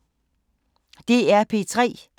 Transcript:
DR P3